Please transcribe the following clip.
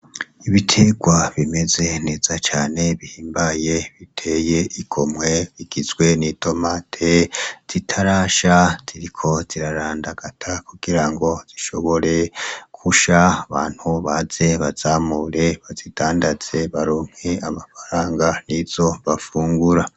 Ibiterwa bimeze neza cane bihimbaye, biteye igomwe bigizwe n'itomati zitarasha ziriko zirarandagata kugira ngo zishobore gusha abantu baze bazamure bazidandaze baronke amafaranga yizo bafungura.